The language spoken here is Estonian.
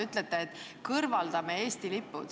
Te ütlesite, et me tahame kõrvaldada Eesti lipud.